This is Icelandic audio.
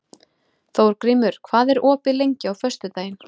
Þórgrímur, hvað er opið lengi á föstudaginn?